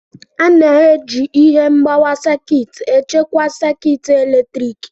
A na-eji ihe mgbawa sekit echekwa sekit eletrik.